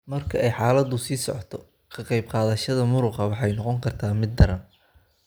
Marka ay xaaladdu sii socoto ka qayb qaadashada muruqa waxay noqon kartaa mid daran.